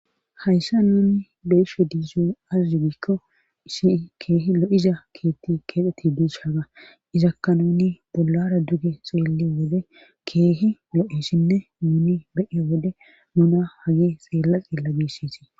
hayssa nuni beshe diizo azzugiikko isi keehi lo7iza keetti keexeti duus haga izakka nuni bollara duge xeelle wode keehi lo7esinne nuni beye wode nuna hage xeella xiella biisitii